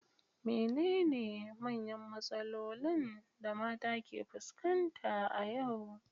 Menene manyan matsalolin da mata ke fuskanta a yau?